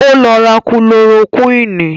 Ó lọ ra kúlorokúwìnì